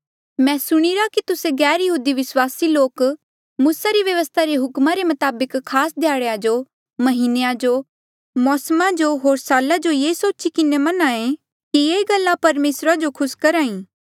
मैं सुणीरा कि तुस्से गैरयहूदी विस्वासी लोक मूसा री व्यवस्था रे हुकमा रे मताबक खास ध्याड़ेया जो म्हीनेया जो मौसमा जो होर साला जो मन्हा ऐें ये सोची किन्हें कि ये गल्ला परमेसरा जो खुस करी